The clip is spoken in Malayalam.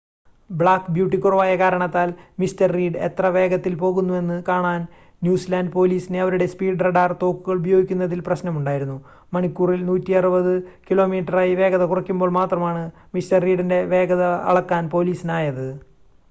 ബ്ലാക്ക് ബ്യൂട്ടി കുറവായ കാരണത്താൽ മിസ്റ്റർ റീഡ് എത്ര വേഗത്തിൽ പോകുന്നുവെന്ന് കാണാൻ ന്യൂസിലാൻഡ് പോലീസിന് അവരുടെ സ്പീഡ് റഡാർ തോക്കുകൾ ഉപയോഗിക്കുന്നതിൽ പ്രശ്‌നമുണ്ടായിരുന്നു മണിക്കൂറിൽ 160 കിലോമീറ്ററായി വേഗത കുറയ്ക്കുമ്പോൾ മാത്രമാണ് മിസ്റ്റർ റീഡിൻ്റെ വേഗത അളക്കാൻ പോലീസിനായത്